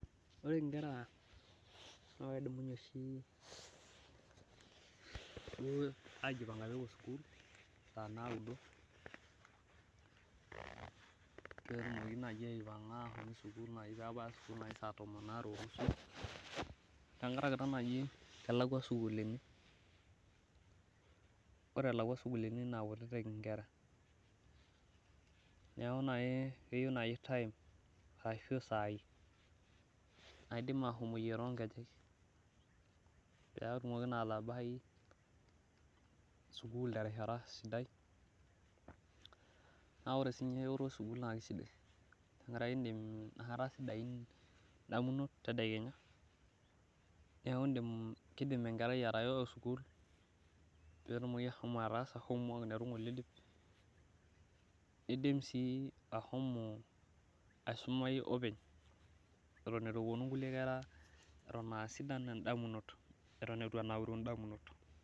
ore inkera naa kedumunye oshi saa naudo pee etumoki atanapata nebaya saa tomon aare, tenkaraki sii elakuani esukul, ore elakua sukuul naa kutitik inkera neeku naaji, keya isaii naidim ashomoyie too inkejek pee etumoki naa atabai sukul terishata sidai naa ore siininye eyoto esukuul naa kisidai, tenkaraki inakata sidain idamunot, neeku kidim enkerai atayo sukuul pee etumoki ashomo atasa homework netu gole idip nidim aisumai etu enauru idamunot.